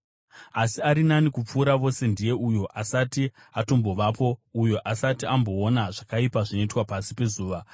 Asi ari nani kupfuura vose ndiye uyo asati atombovapo, uyo asati amboona zvakaipa zvinoitwa pasi pezuva.